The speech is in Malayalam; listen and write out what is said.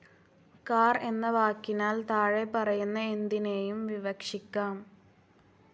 കാർ എന്ന വാക്കിനാൽ താഴെപറയുന്ന എന്തിനേയും വിവക്ഷിക്കാം.